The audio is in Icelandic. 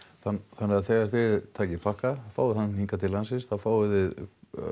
þannig að þegar þið takið pakka fáið hann hingað til landsins þá fáið þið